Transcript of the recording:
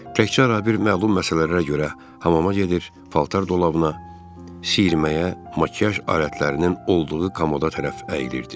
Təkcə rabir məlum məsələlərə görə hamama gedir, paltar dolabına, sirrəməyə, makiyaj alətlərinin olduğu komoda tərəf əyilirdi.